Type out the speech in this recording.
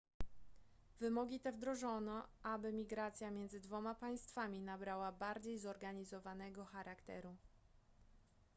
wymogi te wdrożono aby migracja między dwoma państwami nabrała bardziej zorganizowanego charakteru